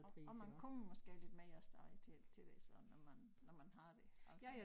Og og man kommer måske lidt mere af sted til til det så når man når man har det altså